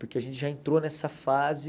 Porque a gente já entrou nessa fase...